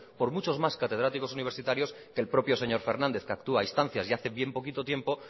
por muchos más catedráticos universitarios que el propio señor fernández que actúa a instancias y hace bien poquito tiempo